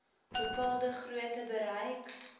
bepaalde grootte bereik